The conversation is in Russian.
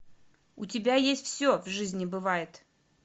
у тебя есть все в жизни бывает